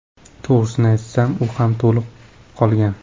To‘g‘risini aytsam, u ham to‘lib qolgan.